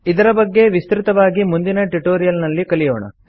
ಇದರ ಬಗ್ಗೆ ವಿಸ್ತೃತವಾಗಿ ಮುಂದಿನ ಟ್ಯುಟೋರಿಯಲ್ ನಲ್ಲಿ ಕಲಿಯೋಣ